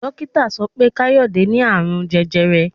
Dókítà sọ pé Káyọ̀dé ní Ààrùn jẹjẹrẹ.